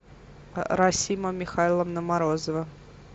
расима михайловна морозова